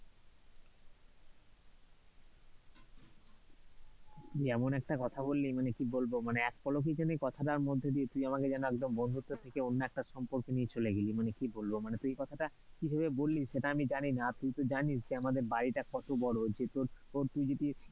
তুই এমন একটা কথা বললি, মানে কি বলবো, মানে এক পলকেই যেন কথাটার মধ্য দিয়ে তুই আমাকে বন্ধুত্ব থেকে অন্য একটা সম্পর্কে নিয়ে চলে গেলি মানে কি বলবো, মানে তুই কথাটা কি ভাবে বললি সেটা আমি জানিনা আর তুই তো জানিস যে আমাদের বাড়িটা কত বড়ো যে তোর, তুই যদি,